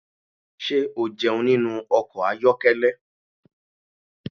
Ṣé o jẹun nínú ọkọ̀ ayokele?